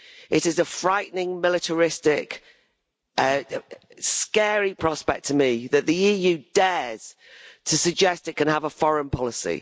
It is a frightening, militaristic and scary prospect to me that the EU dares to suggest it can have a foreign policy.